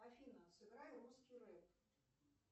афина сыграй русский рэп